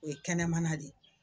O ye kɛnɛmana de ye.